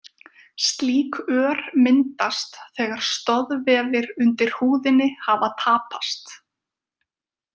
Slík ör myndast þegar stoðvefir undir húðinni hafa tapast.